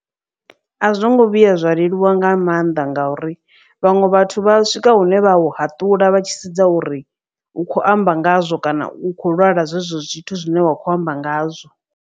A zwo ngo vhuya zwa leluwa nga maanḓa ngauri vhaṅwe vhathu vha swika hune vha u haṱula vha tshi sedza uri u khou amba ngazwo kana u khou lwala zwezwo zwithu zwine wa kho amba ngazwo.